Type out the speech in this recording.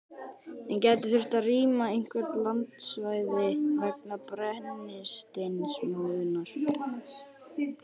En gæti þurft að rýma einhver landsvæði vegna brennisteinsmóðunnar?